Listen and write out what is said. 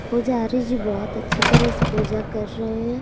पूजारी जी बहुत अच्छी तरह से पूजा कर रहे हैं।